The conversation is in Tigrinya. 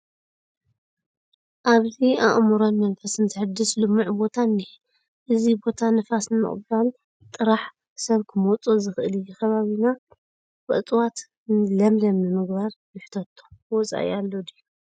ኣብዚ ኣእምሮን መንፈስን ዘሕድስ ልሙዕ ቦታ እኒሀ፡፡ እዚ ቦታ ንፋስ ንምቕባል ጥራሕ ሰብ ክመፆ ዝኽእል እዩ፡፡ ንከባቢና ብእፅዋት ለምለም ንምግባር ንሕተቶ ወፃኢ ኣሎ ድዩ?